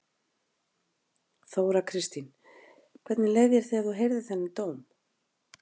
Þóra Kristín: Hvernig leið þér þegar þú heyrðir þennan dóm?